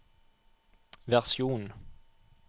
versjon